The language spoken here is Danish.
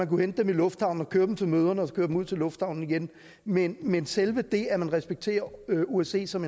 kunne hente dem i lufthavnen og køre dem til møderne og så køre dem ud til lufthavnen igen men men selve det at man respekterer osce som